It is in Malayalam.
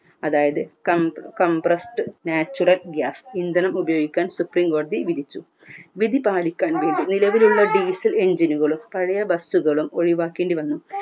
അതായത് compressed natural gas ഇന്ധനം ഉപയോഗിക്കാൻ സുപ്രിംകോടതി വിധിച്ചു വിധി പാലിക്കാൻ വേണ്ടി നിലവിലുള്ള diesel engine നുകളും പഴയ bus കളും ഒഴിവാക്കേണ്ടി വന്നു